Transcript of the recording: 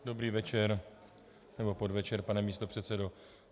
Dobrý večer nebo podvečer, pane místopředsedo.